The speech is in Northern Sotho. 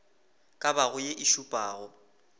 ka bago ye e šupago